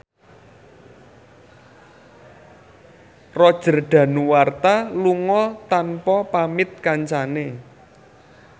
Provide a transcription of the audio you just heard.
Roger Danuarta lunga tanpa pamit kancane